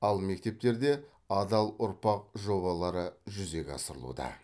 ал мектептерде адал ұрпақ жобалары жүзеге асырылуда